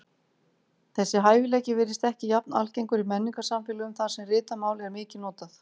Þessi hæfileiki virðist ekki jafn algengur í menningarsamfélögum þar sem ritað mál er mikið notað.